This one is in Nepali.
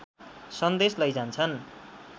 सन्देश लैजान्छन्